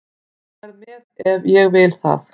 Ég verð með ef ég vil það.